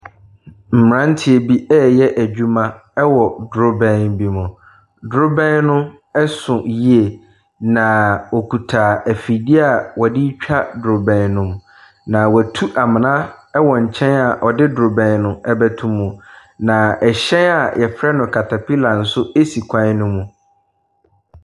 Mmranteɛ reyɛ adwuma wɔ drobɛn bi mu. Drobɛn no so yie. Na wokita afidie a wɔdetwa drobɛn no. Na watu amena a ɔde drobɛn no bɛto mu. Na ɛhyɛn a yɛfrɛ no katapila si kwan no mu.